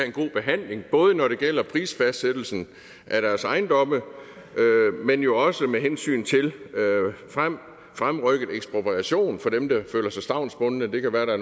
en god behandling både når det gælder for prisfastsættelsen af deres ejendomme men jo også med hensyn til fremrykket ekspropriation for dem der føler sig stavnsbundne det kan være at der